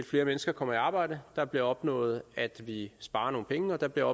flere mennesker kommer i arbejde der bliver opnået at vi sparer nogle penge og der bliver